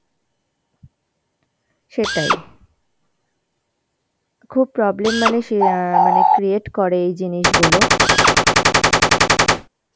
সেটাই. খুব problem মানে সে অ্যাঁ মানে create করে এই জিনিসগুলো